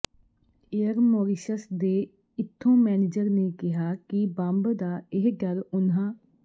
air Mauritius ਦੇ ਇਥੋਂ manager ਨੇ ਕਿਹਾ ਕਿ ਬੰਬ ਦਾ ਇਹ ਡਰ ਉਨ੍ਹਾਂ